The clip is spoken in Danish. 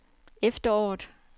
efteråret